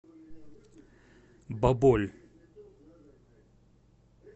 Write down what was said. баболь